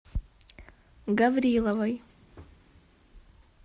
гавриловой